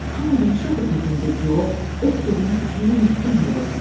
Hamı danışırdı ki, Hinducou öz sözünün üstündə möhkəm durur.